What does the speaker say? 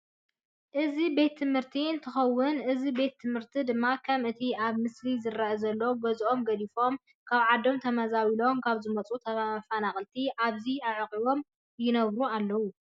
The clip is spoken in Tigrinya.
እዚ ቤት ትምህርቲ እንትኮን እዚ ቤት ትምህርቲ ድማ ከም እቲ አብ ምስሊ ዝረአየና ዘሎ ገዝኦም ገዲፎም ካብ ዓዶም ተመዛቢሎም ካብ ዝመፁ ተፈናቀልቲ ኣብዚ ኣዕቂቦም ይነብሩ ኣለዉ።